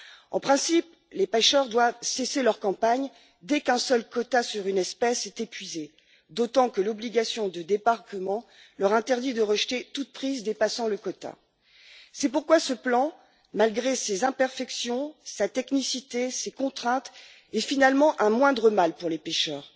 En principe, les pêcheurs doivent cesser leur campagne dès qu'un seul quota applicable à une espèce est épuisé, d'autant que l'obligation de débarquement leur interdit de rejeter toute prise dépassant le quota. C'est pourquoi ce plan, malgré ses imperfections, sa technicité et ses contraintes, est finalement un moindre mal pour les pêcheurs.